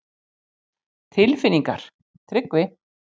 Telma: Tilfinningar, Tryggvi?